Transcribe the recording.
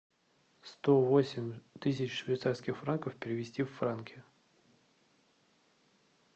сто восемь тысяч швейцарских франков перевести в франки